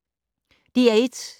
DR1